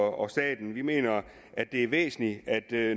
og staten vi mener at det er væsentligt